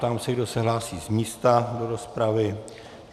Ptám se, kdo se hlásí z místa do rozpravy.